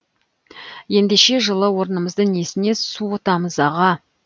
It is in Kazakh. ендеше жылы орнымызды несіне суытамыз аға